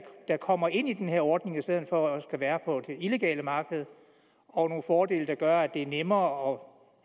kommer ind i ordningen i stedet for at være på det illegale marked og nogle fordele der gør at det er nemmere